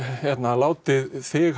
látið þig